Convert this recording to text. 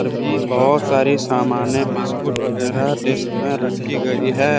बहुत सारी सामान है बिस्किट वगैरा डेस्क में रखी गई है।